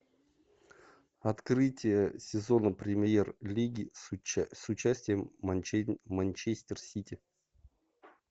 открытие сезона премьер лиги с участием манчестер сити